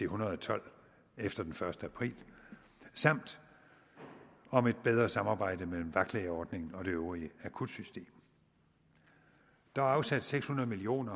hundrede og tolv efter den første april samt om et bedre samarbejde mellem vagtlægeordningen og det øvrige akutsystem der er afsat seks hundrede million